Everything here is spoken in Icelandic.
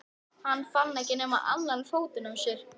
Fann hann ekki nema annan fótinn á þér?